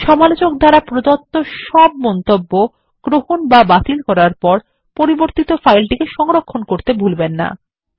সমালোচক দ্বারা প্রদত্ত সব মন্তব্য গ্রহণ বা বাতিল করার পর পরিবর্তিত ফাইলটিকে সংরক্ষণ করতে ভুলবেন না